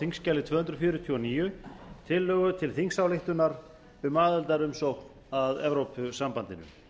þingskjali tvö hundruð fjörutíu og níu tillögu til þingsályktunar um aðildarumsókn að evrópusambandinu